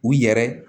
U yɛrɛ